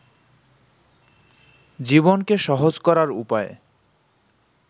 জীবনকে সহজ করার উপায়